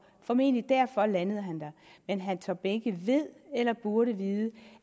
og formentlig derfor landede han der men herre tom behnke ved eller burde vide